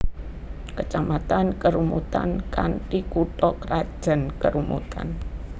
Kecamatan Kerumutan kanthi kutha krajan Kerumutan